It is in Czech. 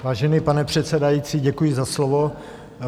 Vážený pane předsedající, děkuji za slovo.